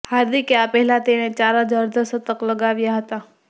હાર્દિકે આ પહેલા તેણે ચાર જ અર્ધશતક લગાવ્યા હતા